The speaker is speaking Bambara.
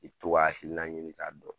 I bi to ka hakilina ɲini k'a dɔn.